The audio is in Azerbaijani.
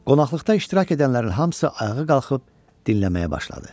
Qonaqlıqda iştirak edənlərin hamısı ayağa qalxıb dinləməyə başladı.